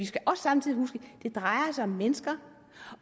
skal også samtidig huske at det drejer sig om mennesker